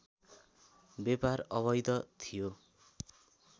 व्यापार अवैध थियो